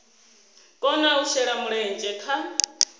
kona u shela mulenzhe kha